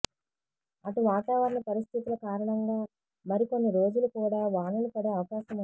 అటు వాతావరణ పరిస్థితుల కారణంగా మరికొన్ని రోజులు కూడా వానలు పడే అవకాశముంది